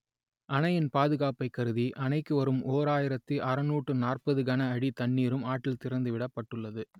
அணையின் பாதுகாப்பை கருதி அணைக்கு வரும் ஓராயிரத்து அறுநூற்று நாற்பது கன அடி தண்ணீரும் ஆற்றில் திறந்து விடப்பட்டுள்ளது